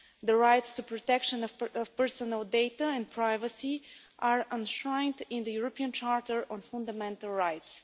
The rights to protection of personal data and privacy are enshrined in the European Charter on Fundamental rights.